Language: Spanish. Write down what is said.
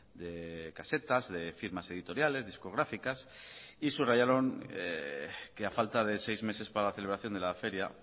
de casetas de firmas editoriales discográficas y subrayaron que a falta de seis meses para la celebración de la feria